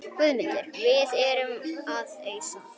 GUÐMUNDUR: Við erum að ausa.